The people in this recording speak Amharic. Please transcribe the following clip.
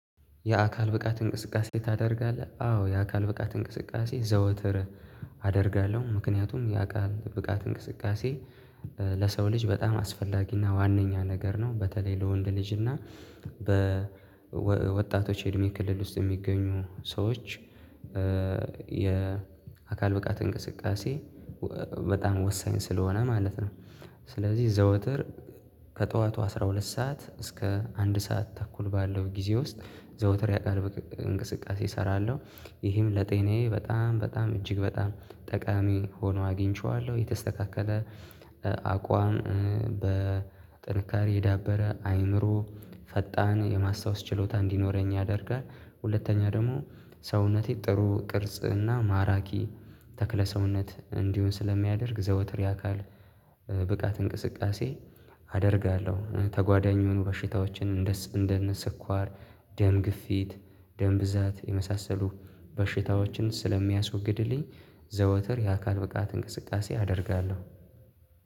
የአካል ብቃት እንቅስቃሴ ታደርጋለህ? አዎ የአካል ብቃት እንቅስቃሴ ዘወትር አደርጋለሁ። ምክንያቱም የአካል ብቃት እንቅስቃሴ ለሰው ልጅ በጣም አስፈላጊና ዋነኛ ነገር ነው። በተለይ ለወንድ ልጅና እና በወጣቶች የእድሜ ክልል ውስጥ የሚገኙ ሰዎች። የአካል ብቃት እንቅስቃሴ በጣም ወሳኝ ስለሆነ ማለት ነው። ስለዚህ ዘውትር ከጠዋቱ አስራ ሁለት ሰዓት እስከ አንድ ሰዓት ተኩል ባለው ጊዜ ውስጥ ዘውትር የአካል እንቅስቃሴ እሰራለሁ። ይህም ለጤናዬ በጣም በጣም እጅግ በጣም ጠቃሚ ሆኖ አግኝቼዋለሁ የተስተካከለ አቋም በጥንካሬ የዳበረ አይምሮ ፈጣን የማስታወስ ችሎታ እንዲኖረኝ ያደርጋል። ሁለተኛ ደግሞ ሰውነቴ ጥሩ ቅርጽና ማራኪ ተክለ ሰውነት እንዲሆን ስለሚያደርግ ዘውትር የአካል ብቃት እንቅስቃሴ አደርጋለሁ። ተጓዳኙን የሆኑ በሽታዎችን እንደ እንደነ ስኳር ደም ግፊት ደም ብዛት የመሳሰሉ በሽታዎችን ስለሚያስወግድልኝ። ዘወትር የአካል ብቃት እንቅስቃሴ አደርጋለሁ።